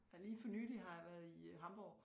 Ja lige for nylig har jeg været i Hamborg